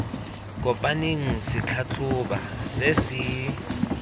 kopaneng se tlhatlhoba se se